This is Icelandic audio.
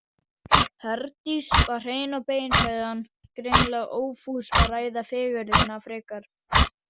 Herdís var hrein og bein, sagði hann, greinilega ófús að ræða fegurðina frekar.